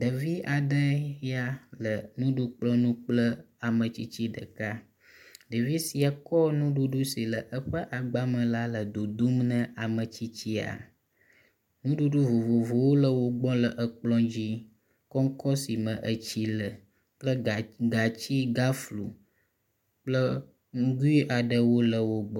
Ɖevi aɖe ya le nuɖukplɔ ŋu kple ametsitsi ɖeka, ɖevi sia kɔ nuɖuɖu si le eƒe agba me la le dodom ne ametsitsia. Nuɖuɖu vovovowo le wogbɔ le ekplɔ̃dzi kɔŋkɔ sime etsi le kple gã gatsi gaflo kple nugui aɖewo le wogbɔ.